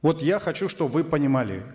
вот я хочу чтобы вы понимали